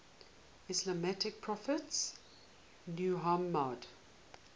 islamic prophet muhammad